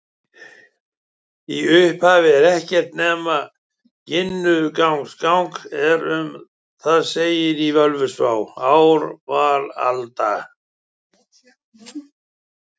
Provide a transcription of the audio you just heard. Í upphafi var ekkert nema Ginnungagap en um það segir í Völuspá: Ár var alda,